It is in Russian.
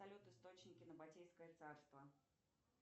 салют источники на ботейское царство